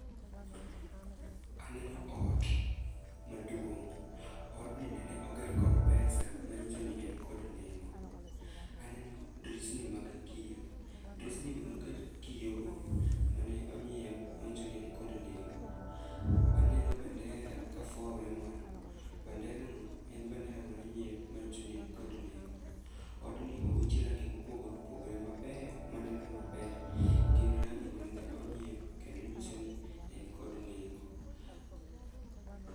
Aneno ot maduong'. Odni nene oger kod pesa, manyiso ni en kod nengo. Aneno drisni mag kio, drisnigo noket kiyogo mane onyiew, manyiso ni en kod nengo. Aneno bandera kafwawre malo, banderano, en bandera mano nyiew, manyiso ni en kod nengo. Odni owich range mopogore opogore maber, maneno maber, gin rangi ma nene onyiew kendo nyisoni en kod nengo.